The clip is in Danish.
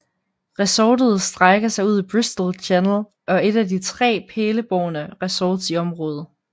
Resortet strækker sig ud i Bristol Channel og er et af de tre pælebårne resorts i området